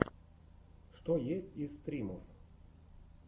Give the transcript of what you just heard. что есть из стримов